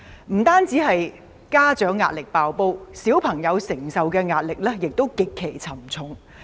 不單家長壓力"爆煲"，小朋友承受的壓力，亦極其沉重。